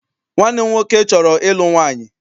Nwanne m nwoke chọrọ ịlụ nwaanyị.